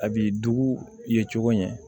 A b'i dugu ye cogo ɲɛ